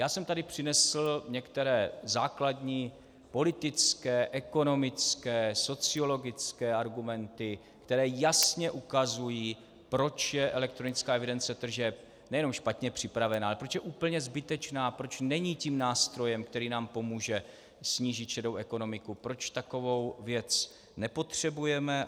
Já jsem tady přinesl některé základní politické, ekonomické, sociologické argumenty, které jasně ukazují, proč je elektronická evidence tržeb nejenom špatně připravena, ale proč je úplně zbytečná, proč není tím nástrojem, který nám pomůže snížit šedou ekonomiku, proč takovou věc nepotřebujeme.